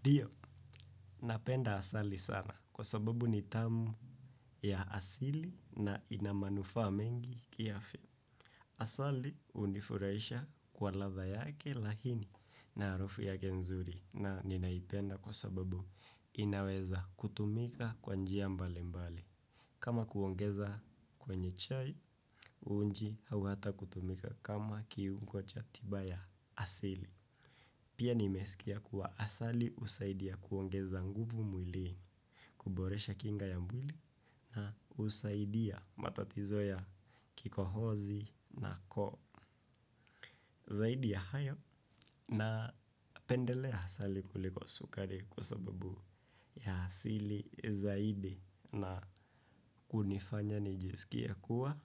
Ndio, napenda asali sana kwa sababu ni tamu ya asili na ina manufaa mengi kiafya. Asali hunifurahisha kwa ladha yake laini na harufu yake nzuri na ninaipenda kwa sababu inaweza kutumika kwa njia mbali mbali. Kama kuongeza kwenye chai, uji au hata kutumika kama kiu kuwa cha tiba ya asili. Pia nimesikia kuwa asali husaidia kuongeza nguvu mwilini, kuboresha kinga ya mwili na husaidia matatizo ya kikohozi na koo zaidi ya hayo na pendelea asali kuliko sukari kwa sababu ya asili zaidi na kunifanya nijisikie kuwa